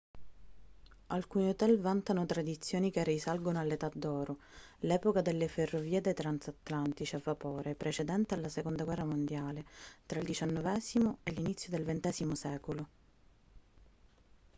alcuni hotel vantano tradizioni che risalgono all'età d'oro l'epoca delle ferrovie e dei transatlantici a vapore precedente alla seconda guerra mondiale tra il xix e l'inizio del xx secolo